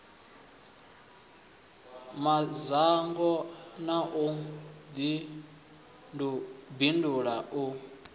madzhango na u bindula na